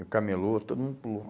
E o camelô, todo mundo pulou.